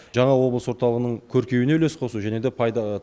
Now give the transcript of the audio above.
жаңа облыс орталығының көркеюіне үлес қосу және де пайда